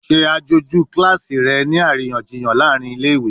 Ṣe aṣoju kilasi rẹ ni ariyanjiyan laarin ile-iwe!